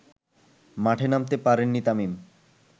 মাঠে নামতে পারেননি তামিম